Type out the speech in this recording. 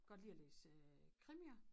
Godt lide at læse krimier